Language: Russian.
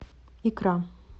икра